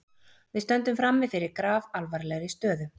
Við stöndum frammi fyrir grafalvarlegri stöðu